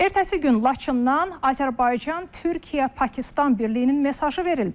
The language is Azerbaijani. Ertəsi gün Laçından Azərbaycan Türkiyə Pakistan birliyinin mesajı verildi.